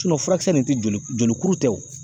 furakisɛ nin tɛ joli joli kuru tɛ o